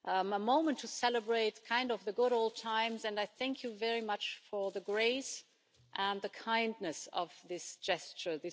a moment to celebrate the good old times, and I thank you very much for the grace and the kindness of this gesture.